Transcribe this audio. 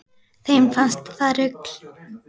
Þeim fannst það rugl